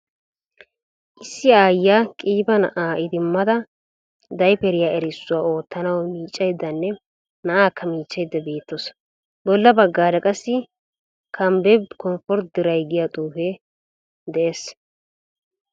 Issi aayiyaa qiiba na'aa idimmada daypperiya erissuwaa oottanawu miiccayddanne na'akka michchayda beettawusu. Bolla baggaara qassi kanbebbe comfort dry giya xuufee dees.